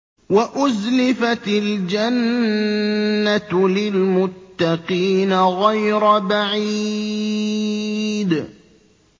وَأُزْلِفَتِ الْجَنَّةُ لِلْمُتَّقِينَ غَيْرَ بَعِيدٍ